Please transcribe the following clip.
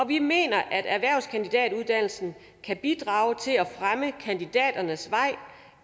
vi mener at erhvervskandidatuddannelsen kan bidrage til at fremme kandidaternes vej